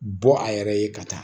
Bɔ a yɛrɛ ye ka taa